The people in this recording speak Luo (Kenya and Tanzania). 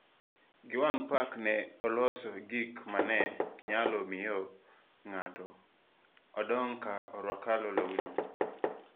Giwan Park ne oloso gik ma ne nyalo miyo ng'ato odong' ka orwako lawno.